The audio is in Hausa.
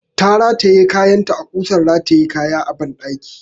Ta rataye kayanta a ƙusan rataya kaya a ɓandaki.